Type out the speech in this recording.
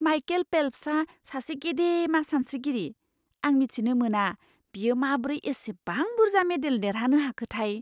Michael फेल्प्सआ सासे गेदेमा सानस्रिगिरि। आं मिथिनो मोना बियो माब्रै एसेबां बुरजा मेडेल देरहानो हाखोथाय!